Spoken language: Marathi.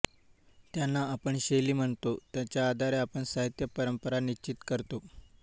त्यांना आपण शैली म्हणतो त्याच्या आधारे आपण साहित्य परंपरा निश्चित करतो